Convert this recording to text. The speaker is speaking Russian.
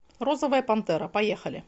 розовая пантера поехали